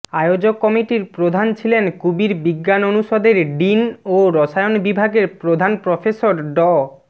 আয়োজক কমিটির প্রধান ছিলেন কুবির বিজ্ঞান অনুষদের ডিন ও রসায়ন বিভাগের প্রধান প্রফেসর ড